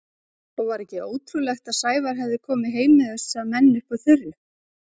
Og var ekki ótrúlegt að Sævar hefði komið heim með þessa menn upp úr þurru?